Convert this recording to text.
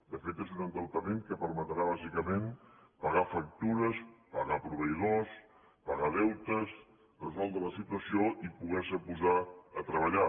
de fet és un endeutament que permetrà lògicament pagar factures pagar proveïdors pagar deutes resoldre la situació i poder se posar a treballar